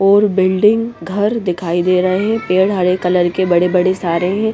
और बिल्डिंग घर दिखाई दे रहे हैं पेड़ हरे कलर के बड़े बड़े सारे हैं।